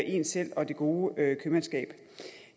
en selv og det gode købmandskab